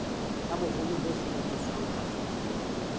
tsa boholo bo sebediswang phasepotong